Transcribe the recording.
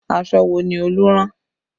Aṣọ wo ni Olú rán?